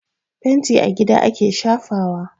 Fenti a gida ake shafawa.